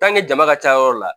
jama ka ca yɔrɔ la